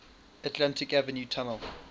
atlantic avenue tunnel